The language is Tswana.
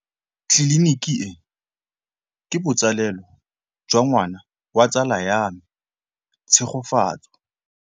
Tleliniki e, ke botsalêlô jwa ngwana wa tsala ya me Tshegofatso.